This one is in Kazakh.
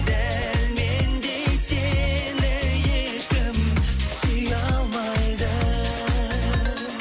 дәл мендей сені ешкім сүйе алмайды